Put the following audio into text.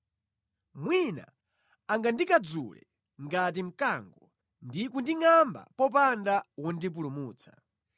mwina angandikadzule ngati mkango, ndi kundingʼamba popanda wondipulumutsa.